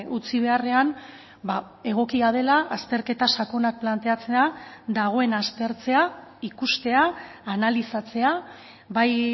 utzi beharrean egokia dela azterketa sakonak planteatzea dagoena aztertzea ikustea analizatzea bai